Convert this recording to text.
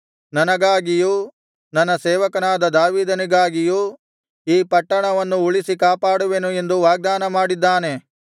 ನನಗಾಗಿಯೂ ನನ್ನ ಸೇವಕನಾದ ದಾವೀದನಿಗಾಗಿಯೂ ಈ ಪಟ್ಟಣವನ್ನು ಉಳಿಸಿ ಕಾಪಾಡುವೆನು ಎಂದು ವಾಗ್ದಾನ ಮಾಡಿದ್ದಾನೆ